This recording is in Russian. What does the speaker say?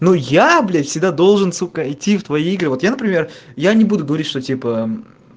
ну я блядь всегда должен сука идти в твои игры вот я например я не буду говорить что типа